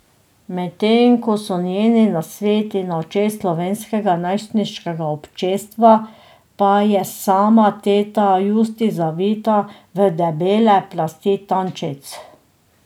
Medtem ko so njeni nasveti na očeh slovenskega najstniškega občestva, pa je sama teta Justi zavita v debele plasti tančic.